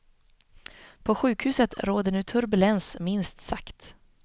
På sjukhuset råder nu turbulens minst sagt.